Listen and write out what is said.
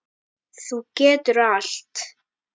Þú getur allt.